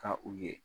Ka u ye